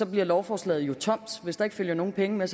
bliver lovforslaget jo tomt hvis der ikke følger nogen penge med